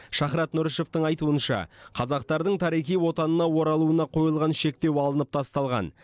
шахрат нұрышевтың айтуынша қазақтардың тарихи отанына оралуына қойылған шектеу алынып тасталған